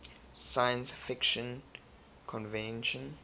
science fiction convention